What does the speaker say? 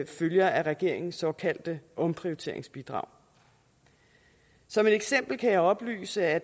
følger af regeringens såkaldte omprioriteringsbidrag som et eksempel kan jeg oplyse at